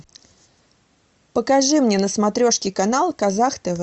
покажи мне на смотрешке канал казах тв